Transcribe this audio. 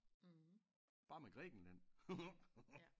Bare med Grækenland